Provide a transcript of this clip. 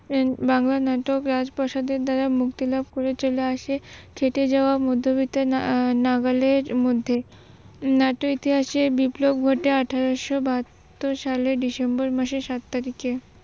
বাংলা নাটক রাজপ্রসাদের দ্বারা মুক্তিলাভ করে চলে আসে খেটে যাওয়া মধ্যবিত্ত নাগালের মধ্যে। নাট্যের ইতিহাসের বিপ্লব ঘটে আঠারোসো বাহাত্তর সালের ডিসেম্বর মাসে সাত তারিখে